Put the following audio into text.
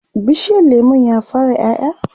bishiyar lemun ya fara ƴaƴa?